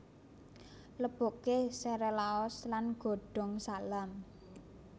Leboke sere laos lan godhong salam